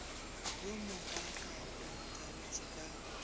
wo mokaaka a nthabetše ka